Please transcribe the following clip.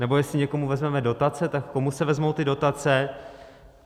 Nebo jestli někomu vezmeme dotace, tak komu se vezmou ty dotace?